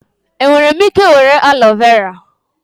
Enwere m ike were aloe vera?